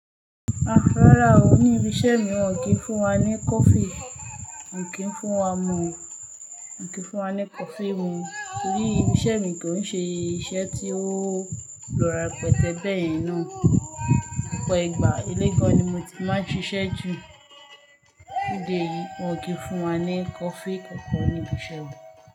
Rárá o, ní ibi iṣẹ́ mi wọ́n ki i fún wa ní coffee. Wọn kì i fún wa mu o. Wọn kì í fún wa ní coffee mu torí ibi iṣẹ́ mi kò ń ṣe iṣẹ́ tí ó lo repete beyẹn náà. Òpò ìgbà ilé gan ni mo ti máa ń ṣiṣẹ́ jù. Lóde yìí wọ́n kì í fún wa ní coffee kankan ní ibi iṣẹ́ o.